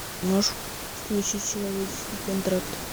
можешь включить человеческий контракт